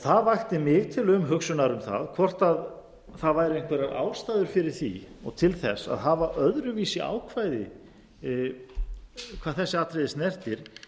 það vakti mig til umhugsunar um það hvort einhverjar ástæður væru fyrir því og til þess að hafa öðruvísi ákvæði hvað þessi atriði snertir